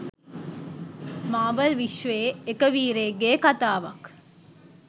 මාවල් විශ්වයේ එක වීරයෙක්ගේ කතාවක්.